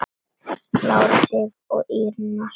Lára Sif og Írena Sóley.